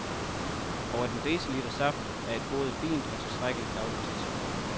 Og at en deciliter saft er et både fint og tilstrækkeligt, dagligt tilskud.